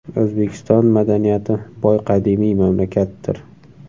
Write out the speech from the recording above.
O‘zbekiston – madaniyati boy qadimiy mamlakatdir.